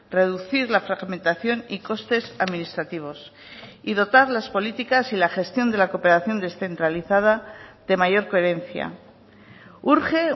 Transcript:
reducir la fragmentación y costes administrativos y dotar las políticas y la gestión de la cooperación descentralizada de mayor coherencia urge